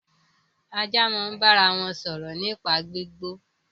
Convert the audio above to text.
Ajá máa ń bára wọn sọ̀rọ̀ nípa gbígbó